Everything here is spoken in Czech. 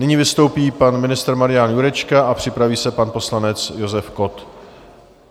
Nyní vystoupí pan ministr Marian Jurečka a připraví se pan poslanec Josef Kott.